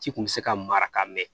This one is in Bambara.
Ci kun mi se ka mara ka mɛn